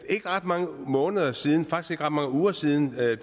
ikke ret mange måneder siden faktisk ikke ret mange uger siden at